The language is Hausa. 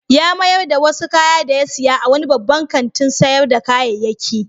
Ya mayar da wasu kaya da ya saya a wani babban kantin sayar da kayayyaki.